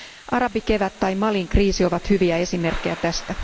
Arabikevät tai Malin kriisi ovat hyviä esimerkkejä tästä.